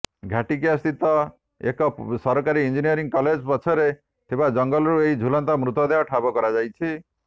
ଘାଟିକିଆ ସ୍ଥିତ ଏକ ସରକାରୀ ଇଞ୍ଜିନିୟରିଂ କଲେଜ ପଛରେ ଥିବା ଜଙ୍ଗଲରୁ ଏହି ଝୁଲନ୍ତା ମୃତଦେହକୁ ଠାବ କରାଯାଇଛି